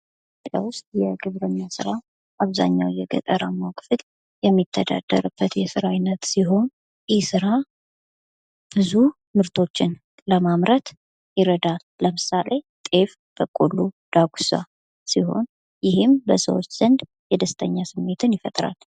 ኢትዮጵያ ውስጥ የግብርና ስራ አብዛኛው የገጠራማ ክፍል የሚተዳደርበት የስራ አይነት ሲሆን ይህ ስራ ብዙ ምርቶችን ለማምረት ይረዳል ለምሳሌ ጤፍ፣ በቆሎ፣ ዳጉሳ ሲሆን ይህም በሰዎች ዘንድ የደስተኛ ስሜትን ይፈጥራል።